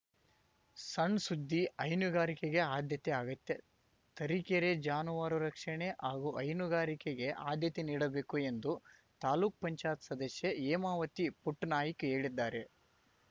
ಸಣ್‌ಸುದ್ದಿ ಹೈನುಗಾರಿಕೆಗೆ ಅದ್ಯತೆ ಅಗತ್ಯ ತರೀಕೆರೆ ಜಾನುವಾರು ರಕ್ಷಣೆ ಹಾಗೂ ಹೈನುಗಾರಿಕೆಗೆ ಅದ್ಯತೆ ನೀಡಬೇಕು ಎಂದು ತಾಲೂಕ್ಪಂಚಾಯ್ತಿ ಸದಸ್ಯೆ ಹೇಮಾವತಿ ಪುಟ್ಟನಾಯ್ಕ ಹೇಳಿದ್ದಾರೆ